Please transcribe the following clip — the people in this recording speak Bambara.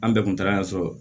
An bɛɛ kun taara yan so